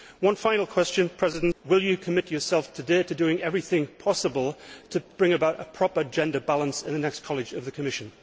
One final question will you commit yourself today to doing everything possible to bring about a proper gender balance in the next College of the Commission?